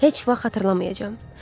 Heç vaxt xatırlamayacam.